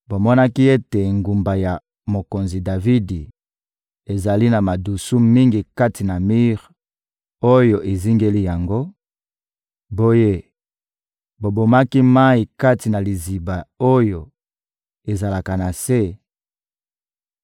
Bomonaki ete Engumba ya mokonzi Davidi ezali na madusu mingi kati na mir oyo ezingeli yango; boye bobombaki mayi kati na Liziba oyo ezalaka na se,